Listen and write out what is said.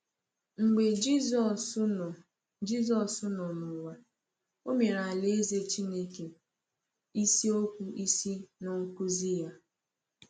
Mgbe Jisọs nọ Jisọs nọ n’ụwa, ọ mere Alaeze Chineke isiokwu isi n’ọkụzi ya.